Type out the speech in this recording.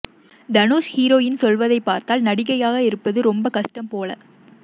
Dhanush heroine சொல்வதை பார்த்தால் நடிகையாக இருப்பது ரொம்ப கஷ்டம் போல